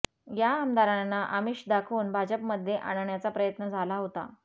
या आमदारांना आमिष दाखवून भाजपमध्ये आणण्याचा प्रयत्न झाला होता